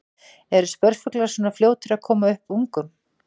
Eru spörfuglar svona fljótir að koma upp ungum?